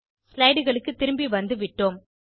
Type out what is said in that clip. slideகளுக்கு திரும்பி வந்துவிட்டோம்